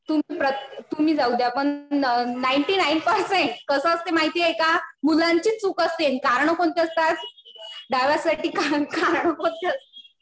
तुम्ही जाऊद्या. पण नाईंटी नाईन पर्सेंट कसं असतंय माहितेय का, मुलांचीच चूक असते कारणं कोणती असतात. डायव्होर्स साठी कारणं कोणती असतात